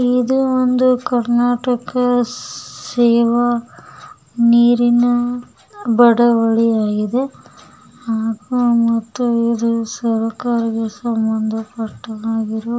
ಇದು ಒಂದು ಕರ್ನಾಟಕ ಸೇವಾ ನೀರಿನ ಬಡವಳಿಯಾಗಿದೆ ಹಾಗು ಮತ್ತು ಇದು ಸರ್ಕಾರಕ್ಕೆ ಸಂಬಂಧಪಟ್ಟದ್ದಾಗಿರುವ--